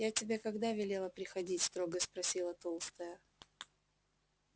я тебе когда велела приходить строго спросила толстая